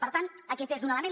per tant aquest és un element